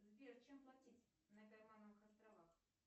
сбер чем платить на каймановых островах